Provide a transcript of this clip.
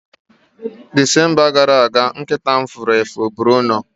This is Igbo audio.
Disemba gara aga, nkịta m furu efu Bruno